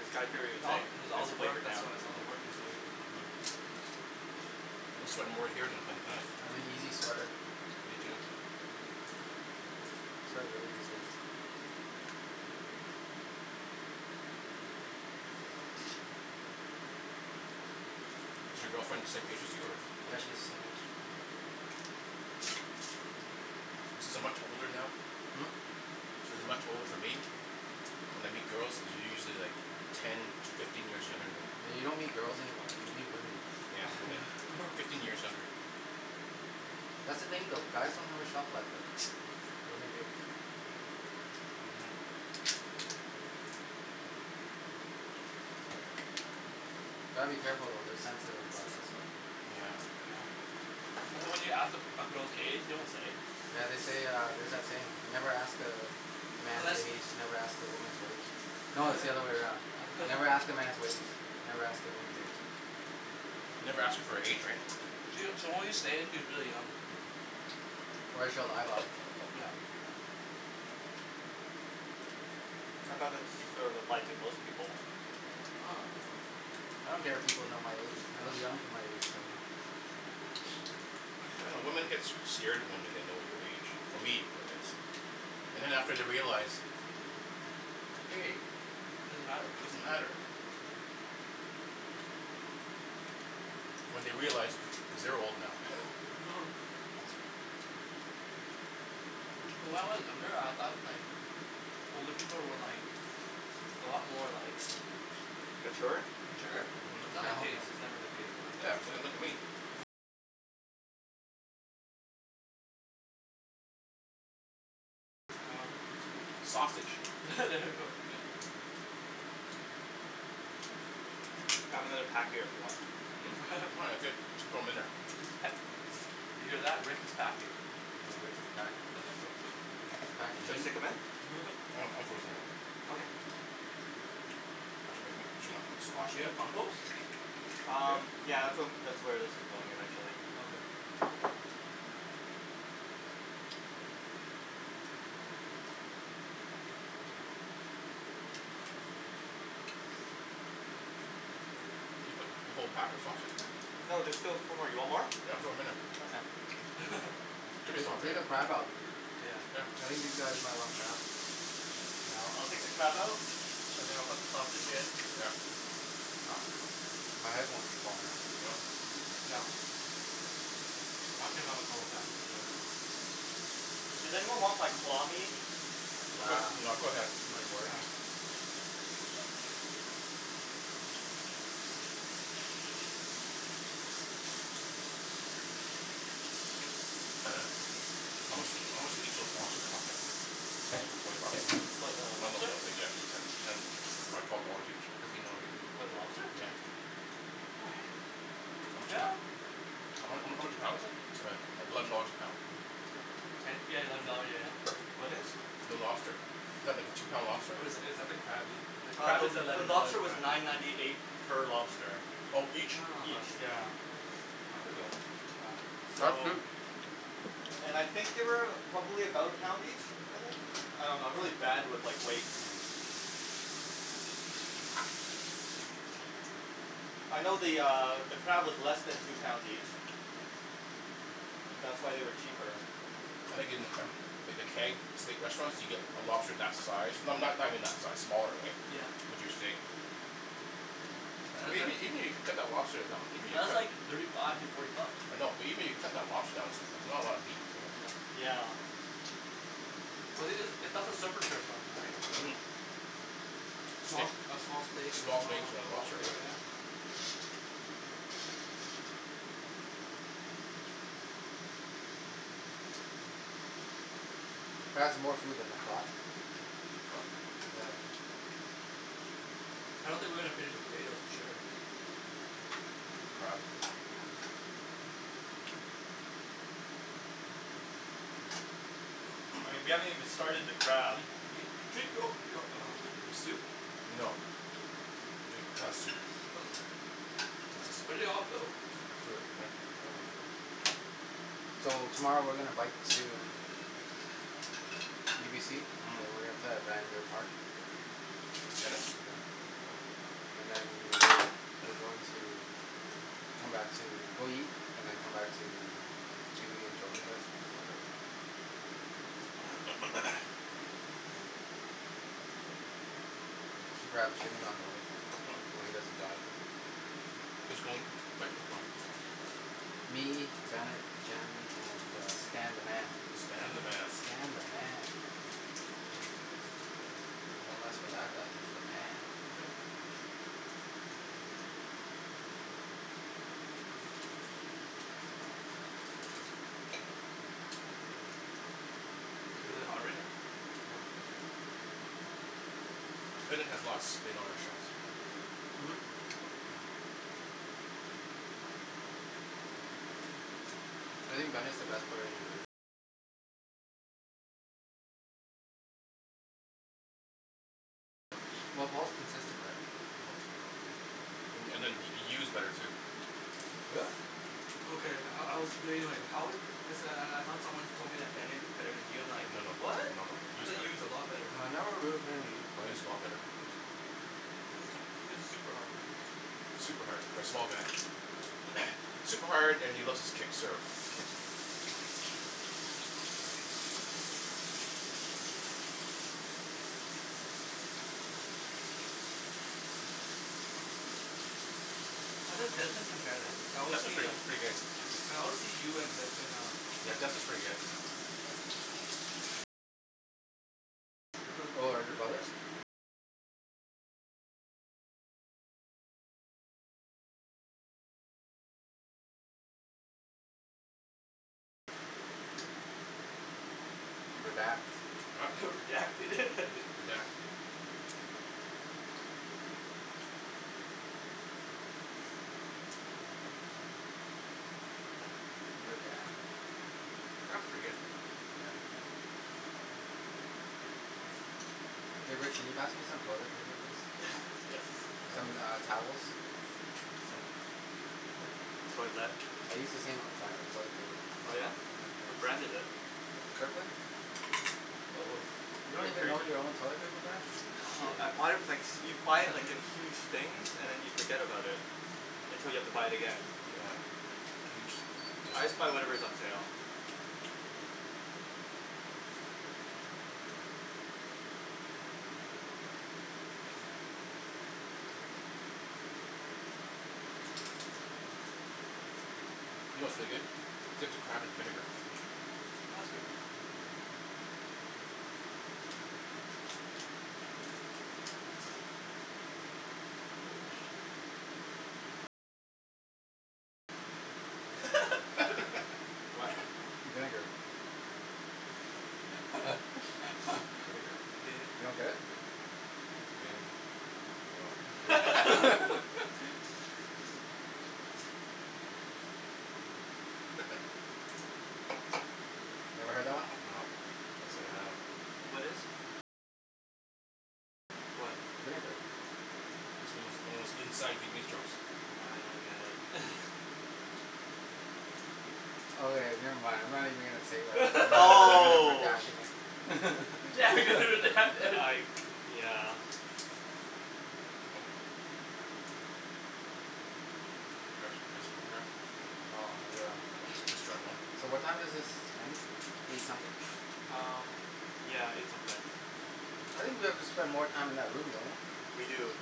It's got It's all, it's all it's the work flavored now. that's why, it's all the work he's doing. Mhm. I'm sweating more here than in tennis. I'm an easy sweater. Me too. I sweat really easy. Is your girlfriend the same age as you or? Yeah, she's the same age. Mhm. Since I'm much older now, Hm? since there's not much older for me, when I meet girls they're usually like ten, fifteen years younger than me. Yeah you don't meet girls anymore, you meet women. Yeah women, fifteen years younger. That's the thing though. Guys don't have a shelf life though. Women do. Mhm. Gotta be careful though, they're sensitive about that stuff. Yeah. Yeah. That's why when you ask, a a girl's age, they won't say. Yeah they say uh, there's that saying. Never ask a man's age, never ask a woman's wage. No it's the other way around, never ask a man's wage, never ask a woman's age. Mm. Never ask her for her age right. She'll she'll only say it if she's really young. Or she'll lie about it. Yeah. I thought that's sort of applied to most people. I don't care if people know my age, I look young for my age so I dunno, women get s- scared when they know your age, for me anyways. And after they realize, hey, it doesn't matter. When they realize, cuz they're old now When I was younger, I thought like, older people were like, a lot more like, Mature? mature, It's not the Hell case, no. it's never the case now. Sausage. There we go. I have another pack here if you want them. Hm? Oh that's good, just throw 'em in there. He's pa- did you hear that, Rick is packing. Yeah, Rick is packing. He's packing Should I heat. stick them in? I throw Okay. this in there already Do you have compost? Um, Here? yeah, that's whe- um that's where this is going eventually. Okay. Did you put the whole pack of sausage there? No, there's still four more, you want more? Yeah, throw 'em in there. Okay. Jimmy's Ta- still hungry take the right? crab out, Yeah. I think these guys might want crab. Yeah, I'll I'll take the crab out? And then I'll put the sausage in. Yeah. Ah, my headphones keep falling out. Yeah. Does anyone want like claw meat? Nah, That's okay. too much work. How much, how much, did each those lobster cost then? Twenty bucks? No no no then yeah, ten t- ten or twelve dollars each? Fifteen dollars each? For the lobster? Yeah. Yeah How h- how how much a pound is it? Eleven dollars a pound? Ten? Yeah eleven dollar, yeah yeah What is? The lobster. Is that the two pound lobster? Or is that, is that the crab, the Uh crab the is the eleven dollars lobster a was pound. nine ninety eight per lobster. Ah Oh each? huh. Each, yeah. That's pretty good, that's not bad. That's So, cheap! and I think they weigh about, probably about a pound each? I think? I dunno, I'm really bad with like, weights. Mm. I know the uh, the crab is less than two pounds each. That's why they were cheaper. I think in like the Keg, steak restaurants, you get a lobster for that size, no- no- not even that size, smaller right, Yeah. with your steak Yeah but that's Even even even if you cut the lobster down, even if li- , you that's cut, like thirty five to forty bucks. I know, but even if you cut the lobster down, there's s- not a lot of meat here. Yeah. Yeah. Well it's it's a, that's a surf and turf menu Mhm right Steak, a small steak and a small steaks small and a lobster lobster, right yeah? That was more food than I thought. Huh? Yeah. I don't think we're gonna finish the potatoes for sure. Even crab. I mean, we haven't even started the crab. drink yo- , your soup? No. I'm drinking the soup. Oh, where'd it all go? I threw it in there. So, tomorrow we're gonna bike to UBC. Mm And we're going to play at Vanier park. Tennis? Mhm Yeah, and then, we're going to come back to go eat, and then come back to q e and Jordan's house. Okay Should grab Jimmy on the way, Hm? I know he doesn't drive. Who's going biking tomorrow? Me, Bennett, Jen, and uh Stan the man. Stan the man Stan the man! Don't mess with that guy, he's the man. Is it really hot right now? No Bennett has lots of spin on his shots. Mhm Well Paul's consistent right Mm And and then Y- Yu's better too. Really? Okay, I I was debating like how good, cuz then I I thought someone once told me that Bennett is better than Yu, I'm like, No no no, "What?", no no, I Yu's thought better. Yu is a Well lot better. right now Yu's a lot better. He hits, he hits super hard man Super hard, for a small guy super hard, and he loves his kick serve How does Desmond compare then? Cuz I always Desmond's see pretty uh, pretty good, I always see Yu and Desmond uh yeah, Desmond's pretty good. Yeah. Oh are they brothers? Redact Huh? Redact it Redact. Crab's pretty good. Yeah. Hey Rick can you pass me some toilet paper please? Yes. Some uh, towels? Some, toilette. I use the same brand of toilet paper. Oh yeah? Yeah, What thanks. brand is it. Kirkland? Oh, You you don't have even grea- know your own toilet paper brand? , oh, I buy it with like, you buy it like in huge things and then you forget about it. Until you have to buy it again. Yeah, huge I just buy discount. whatever is on sale. You know what's really good? Dip the crab in vinegar. Mm Holy shit. What? Vinegar. Vinegar You don't Vin get it? Vin, oh. Never heard that one? No, can't say I have. What is? What? Vinegar It's one of Vietnamese inside jokes. Nah I don't get it Okay never mind, I'm not even going to say that, you all are Oh! bashing it I, yeah. grab some more crab. No, I'm good on crab. Just just try one. So what time is this done? Eight something? Um, yeah, eight something. I think we have to spend more time in that room, don't we? We do,